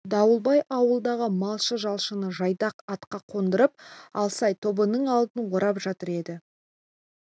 дауылбай ауылдағы малшы-жалшыны жайдақ атқа қондырып алсай тобының алдын орап жатыр еді